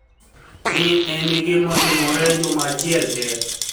ni e eni gima notimore Juma achiel te.